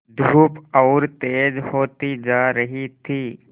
धूप और तेज होती जा रही थी